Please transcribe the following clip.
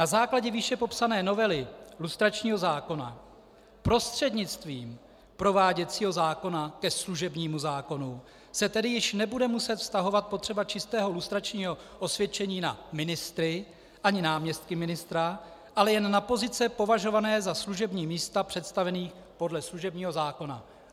Na základě výše popsané novely lustračního zákona prostřednictvím prováděcího zákona ke služebnímu zákonu se tedy již nebude muset vztahovat potřeba čistého lustračního osvědčení na ministry ani náměstky ministra, ale jen na pozice považované za služební místa představených podle služebního zákona.